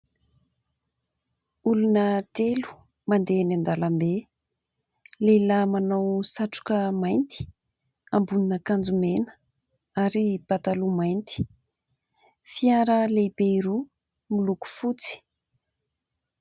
Olona telo mandeha eny an-dalambe. Lehilahy manao satroka mainty, ambonin'akanjo mena ary pataloha mainty ; fiara lehibe roa miloko fotsy.